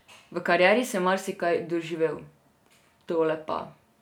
V karieri sem marsikaj doživel, tole pa ...